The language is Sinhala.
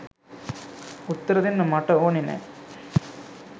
උත්තර දෙන්න මට ඕනේ නෑ.